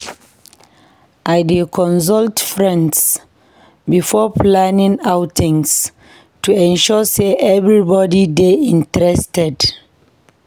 I dey consult friends before planning outings to ensure sey everybody dey interested.